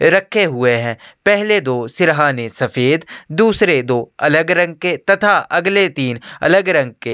ए रखे हुए है| पहले दो सिरहाने सफेद दूसरे दो अलग रंग के तथा अगले तीन अलग रंग के--